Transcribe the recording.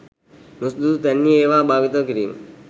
නුසුදුසු තැන්හි ඒවා භාවිතා කිරීම